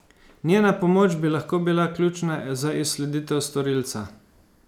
Njena pomoč bi lahko bila ključna za izsleditev storilca.